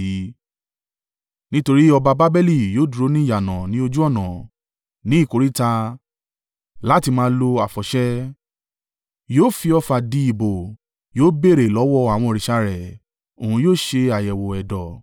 Nítorí ọba Babeli yóò dúró ni ìyànà ní ojú ọ̀nà, ní ìkóríta, láti máa lo àfọ̀ṣẹ. Yóò fi ọfà di ìbò, yóò béèrè lọ́wọ́ àwọn òrìṣà rẹ̀, òun yóò ṣe àyẹ̀wò ẹ̀dọ̀.